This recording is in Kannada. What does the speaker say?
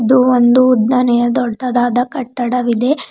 ಇದು ಒಂದು ಉದ್ದನೆಯ ದೊಡ್ಡದಾದ ಕಟ್ಟಡವಿದೆ.